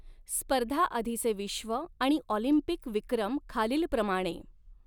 स्पर्धाआधीचे विश्व आणि ऑलिंपिक विक्रम खालीलप्रमाणे